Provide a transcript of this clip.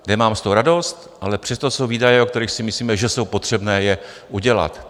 Nemám z toho radost, ale přesto jsou výdaje, o kterých si myslíme, že je potřebné je udělat.